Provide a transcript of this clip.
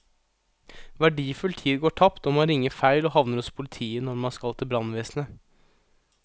Verdifull tid går tapt når man ringer feil og havner hos politiet når man skal til brannvesenet.